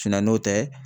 n'o tɛ